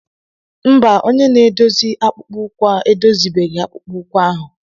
Mba, onye na-eme akpụkpọ ụkwụ edozibeghi akpụkpọ ụkwụ ahụ.